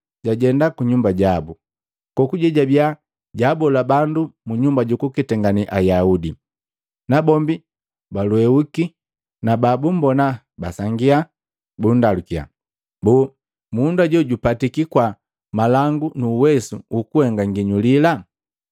jajenda ku nyumba jabu. Kokuje jabiya jaabola bandu mu nyumba jukuketangane Ayaudi. Nabombi balweuki, na babumbona basangia, bundalukiya, “Boo, mundu hajo jupatiki kwaa malangu nu uwesu ukuhenga nginyulila?